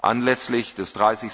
Anlässlich des